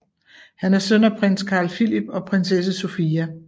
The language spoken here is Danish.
Han er søn af prins Carl Philip og prinsesse Sofia